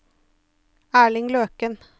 Erling Løken